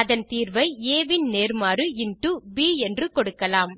அதன் தீர்வை ஆ ன் நேர்மாறு இன்டோ ப் என்று கொடுக்கலாம்